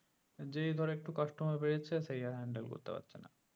যেই ধরো customer বেড়েছে সেই আর handel করেত পারছে না